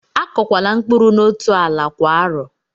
Akọkwala mkpụrụ n'otú ala kwa arọ!